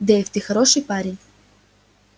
дейв ты хороший парень